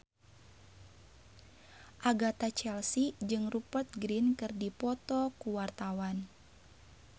Agatha Chelsea jeung Rupert Grin keur dipoto ku wartawan